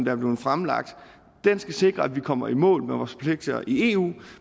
er blevet fremlagt skal sikre at vi kommer i mål med vores forpligtelser i eu